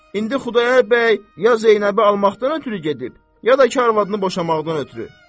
İndi Xudayar bəy ya Zeynəbi almaqdan ötrü gedib, ya da ki, arvadını boşamaqdan ötrü.